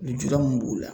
Lujura min b'o la